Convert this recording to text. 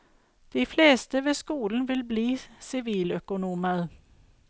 De fleste ved skolen vil bli siviløkonomer.